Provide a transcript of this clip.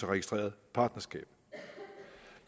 registreret partnerskab